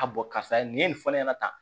A bɔn karisa nin ye nin fɔ ne ɲɛna tan